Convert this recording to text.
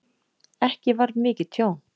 Ekki varð mikið tjón